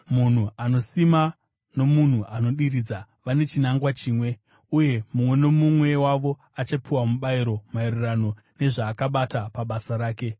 Munhu anosima nomunhu anodiridza vane chinangwa chimwe, uye mumwe nomumwe wavo achapiwa mubayiro maererano nezvaakabata pabasa rake.